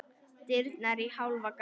Dyrnar í hálfa gátt.